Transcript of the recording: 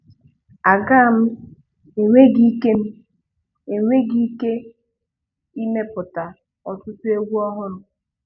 Aga m enweghi ike m enweghi ike ịmepụta ọtụtụ egwu ọhụrụ.